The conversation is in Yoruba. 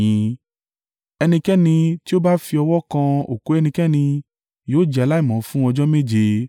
“Ẹnikẹ́ni tí ó bá fi ọwọ́ kan òkú ẹnikẹ́ni, yóò jẹ́ aláìmọ́ fún ọjọ́ méje.